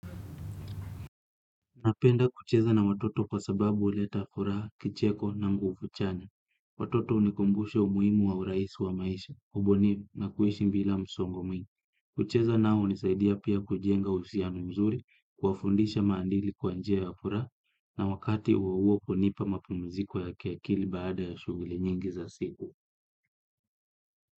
Napenda kucheza na watoto kwa sababu huleta furaha, kicheko na nguvu chanya. Watoto hunikumbusha umuimu wa urahisi wa maisha, ubunifu na kuishi bila msongo mwingi. Kucheza nao hunisaidia pia kujenga uhusiano mzuri kuwafundisha maadili kwa njia ya furaha na wakati huo huo kunipa mapumziko ya kiakili baada ya shughuli nyingi za siku.